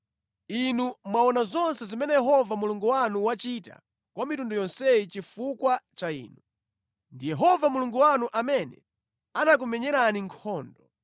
Inu mwaona zonse zimene Yehova Mulungu wanu wachita kwa mitundu yonseyi chifukwa cha inu. Ndi Yehova Mulungu wanu amene anakumenyerani nkhondo.